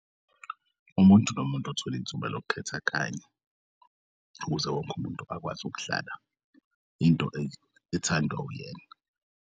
Umuntu nomuntu othol'ithuba lokukhetha kanye ukuze wonke umuntu akwazi ukudlala into ethandwa uyena.